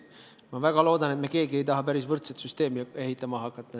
Ma väga loodan, et me keegi ei taha hakata ehitama tegelikku võrdsust tagavat süsteemi.